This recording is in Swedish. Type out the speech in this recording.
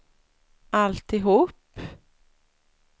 alltihop